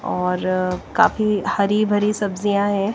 और काफी हरी भरी सब्जियां हैं।